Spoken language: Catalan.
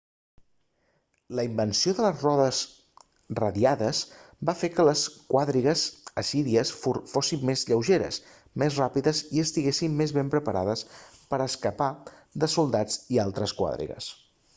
la invenció de les rodes radiades va fer que les quadrigues assíries fossin més lleugeres més ràpides i estiguessin més ben preparades per a escapar de soldats i altres quadrigues